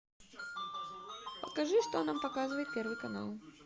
покажи что нам показывает первый канал